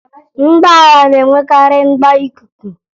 Ụgbọala na-enwekarị mgbo ikuku